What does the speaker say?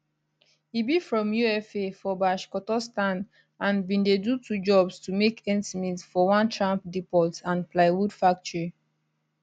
e be from ufa for bashkortostan and bin dey do two jobs to make ends meet for one tram depot and plywood factory